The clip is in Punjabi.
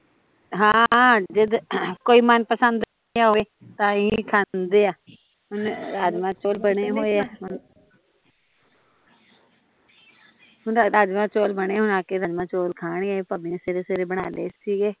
ਹਾਂ ਜਦ ਕੋਈ ਮਨਪਸੰਦ ਬਣਿਆ ਹੋਵੇ ਤਾਂ ਹੀਂ ਖਾਂਦੇ ਆ ਹੁਣ ਰਾਜਮਾਹ ਚੋਲ ਬਣੇ ਹੋਏ ਆ ਹੁਣ ਰਾਜਮਾਹ ਚੋਲ ਬਣੇ ਹੋਏ ਹੁਣ ਆ ਕੇ ਰਾਜਮਾਹ ਚੋਲ ਖਾਣਗੇ ਭਾਬੀ ਨੇ ਸਵੇਰੇ ਸਵੇਰੇ ਬਣਾ ਲਏ ਸੀ